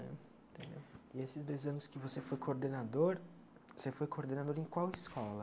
E esses dois anos que você foi coordenador, você foi coordenador em qual escola?